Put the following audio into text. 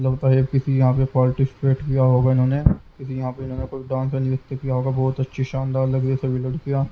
लगता है किसी यहाँ पे पार्टिसिपेट किया होगा इन्होंने किसी यहाँ पे इन्होंने कोई डांस नियुक्त किया होगा बहुत अच्छी शानदार लग रही है सभी लड़कियाँ।